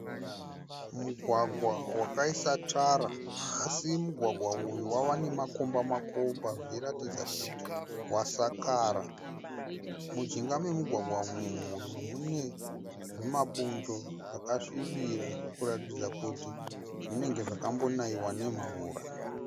Mugwagwa wakaiswa tara asi mugwagwa uyu wava nemakomba makomba zvichiratidza kuti wasakara. Mujinga memugwagwa umu mune zvimabundo zvakasvibira kuratidza kuti zvinenge zvakambonaiwa nemvura.